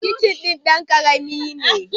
Kicin din dan ƙarami ne.